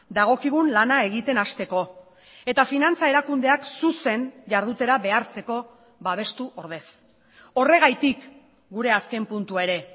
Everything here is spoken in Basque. dagokigun lana egiten hasteko eta finantza erakundeak zuzen jardutera behartzeko babestu ordez horregatik gure azken puntua ere